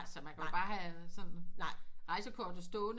Altså man kan jo bare have sådan rejsekortet stående